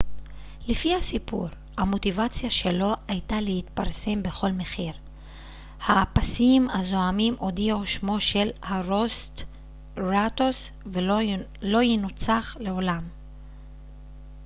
לפי הסיפור המוטיבציה שלו הייתה להתפרסם בכל מחיר האפסיים הזועמים הודיעו שמו של הרוסטראטוס לא יונצח לעולם